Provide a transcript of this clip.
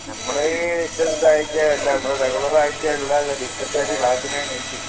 നമ്മൾ ചെറുതായിട്ട്